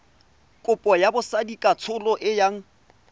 kopo ya botsadikatsholo e yang